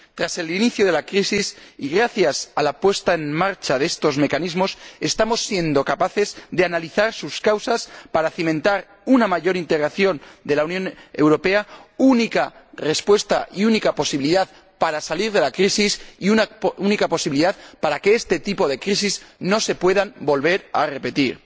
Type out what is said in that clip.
Tras el inicio de la crisis, y gracias a la puesta en marcha de estos mecanismos, estamos siendo capaces de analizar sus causas para cimentar una mayor integración de la Unión Europea, única respuesta y única posibilidad para salir de la crisis y para que este tipo de crisis no se pueda volver a repetir.